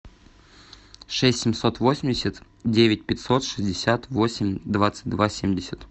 шесть семьсот восемьдесят девять пятьсот шестьдесят восемь двадцать два семьдесят